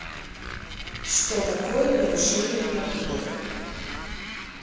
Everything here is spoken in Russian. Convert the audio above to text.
что такое нарушения на выборах